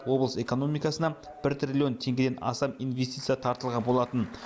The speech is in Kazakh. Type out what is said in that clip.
облыс экономикасына бір триллион теңгеден астам инвестиция тартылған болатын